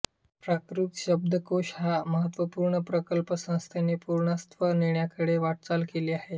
प्राकृत शब्दकोश हा महत्त्वपूर्ण प्रकल्प संस्थेने पूर्णत्वास नेण्याकडे वाटचाल केली आहे